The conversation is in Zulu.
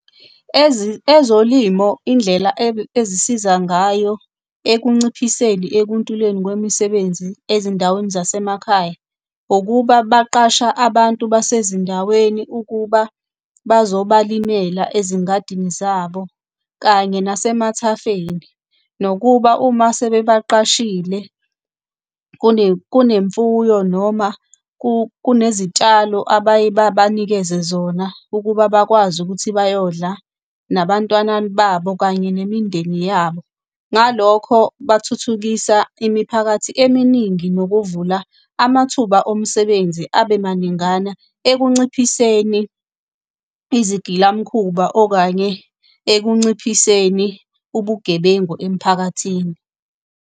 Ezolimo indlela ezisiza ngayo ekunciphiseni ekuntuleni kwemisebenzi ezindaweni zasemakhaya, ukuba baqasha abantu basezindaweni ukuba bazobalimela ezingadini zabo, kanye nasemathafeni, nokuba uma sebebaqashile kunemfuyo noma kunezitshalo abaye babanikeze zona ukuba bakwazi ukuthi bayodla nabantwana babo kanye nemindeni yabo. Ngalokho bathuthukisa imiphakathi eminingi nokuvula amathuba omsebenzi abe maningana ekunciphiseni izigilamkhuba okanye ekunciphiseni ubugebengu emphakathini.